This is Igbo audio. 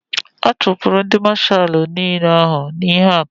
A chupuru ndi mashalu n'ile ahu n'ihe akaja